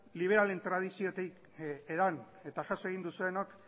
liberalen tradiziotik edan eta jaso egin duzuenok